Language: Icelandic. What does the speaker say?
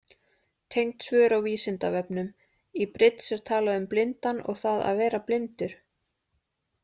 Tengd svör á Vísindavefnum: Í bridds er talað um blindan og það að vera blindur.